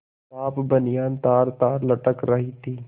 साफ बनियान तारतार लटक रही थी